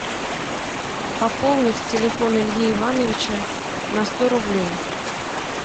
пополнить телефон ильи ивановича на сто рублей